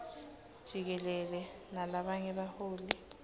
jikelele nalabanye baholi